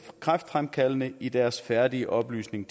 kræftfremkaldende i deres færdige opløsning